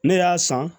Ne y'a san